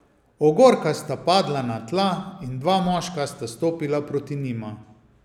Ogorka sta padla na tla in dva moška sta stopila proti njima.